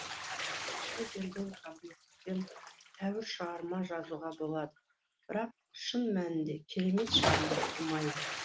құдай берген қабілетпен тәуір шығарма жазуға болады бірақ шын мәнінде керемет шығарма тумайды